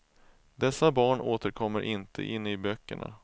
Dessa barn återkommer inte inne i böckerna.